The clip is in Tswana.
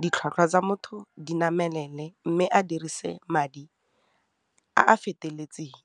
ditlhwatlhwa tsa motho di namelele mme a dirise madi a a feteletseng.